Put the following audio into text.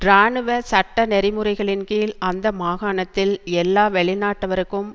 இராணுவ சட்ட நெறிமுறைகளின் கீழ் அந்த மாகாணத்தில் எல்லா வெளிநாட்டவருக்கும்